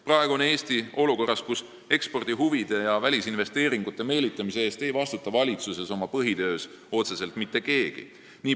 Praegu on Eesti olukorras, kus ekspordihuvid ja välisinvesteeringute meelitamine ei ole kellegi põhitöö – valitsuses ei vastuta selle eest otseselt mitte keegi.